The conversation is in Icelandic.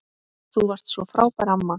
Þú varst svo frábær amma.